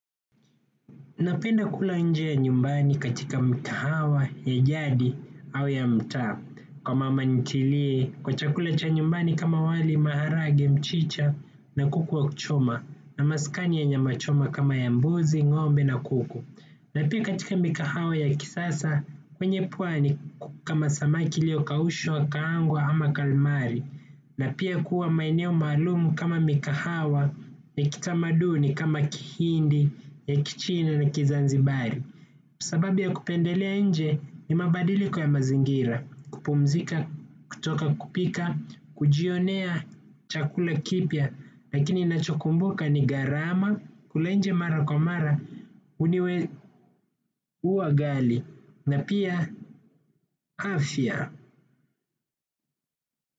Napenda kula nje ya nyumbani katika mikahawa ya jadi au ya mtaa kwa mama nitilie kwa chakula cha nyumbani kama wali maharage mchicha na kuku wa kuchoma na maskani ya nyama choma kama ya mbuzi ngombe na kuku na pia katika mikahawa ya kisasa kwenye pwani kama samaki iliyokaushwa kaangwa ama kalmari na pia kuwa maeneo maalumu kama mikahawa ni kitamaduni kama Kihindi, ya Kichina na kizanzibari. Sababi ya kupendelea nje ni mabadiliko ya mazingira, kupumzika, kutoka kupika, kujionea chakula kipya. Lakini nacho kumbuka ni gharama kula nje mara kwa mara huniwe huwa ghali na pia afya.